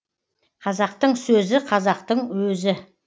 қазақтың сөзі қазақтың өзі